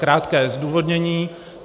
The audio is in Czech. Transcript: Krátké zdůvodnění.